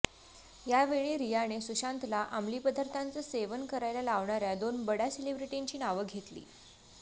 यावेळी रियाने सुशांतला अमली पदार्थांचं सेवन करायला लावणाऱ्या दोन बड्या सेलिब्रिटींची नावं घेतली